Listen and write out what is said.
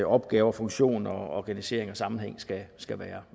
opgaver funktion organisering og sammenhæng skal skal være